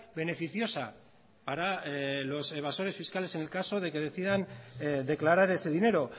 beneficiosa para los evasores fiscales en el caso de que decidan declarar ese dinero